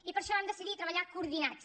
i per això vam decidir treballar coordinats